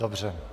Dobře.